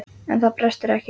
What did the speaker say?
En það brestur ekki.